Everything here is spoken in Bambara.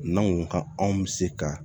N'anw ka anw bɛ se ka